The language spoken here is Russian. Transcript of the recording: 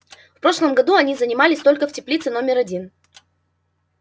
в прошлом году они занимались только в теплице номер один